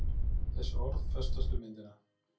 Þessi orð festast við myndina.